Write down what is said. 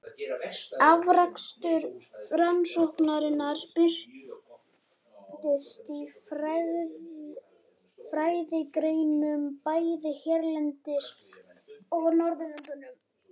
Afrakstur rannsóknanna birtist í fræðigreinum bæði hérlendis og á Norðurlöndunum.